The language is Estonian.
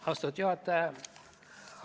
Austatud juhataja!